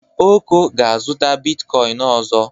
Oko ga-azụta bitkoịn ọzọ.